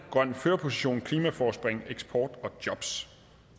grøn førerposition klimaforspring eksport og jobs